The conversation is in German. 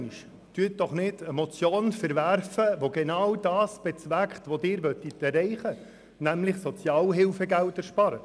Verwerfen Sie doch nicht eine Motion, die genau das bezweckt, was Sie erreichen wollen, nämlich Sozialhilfegelder einsparen!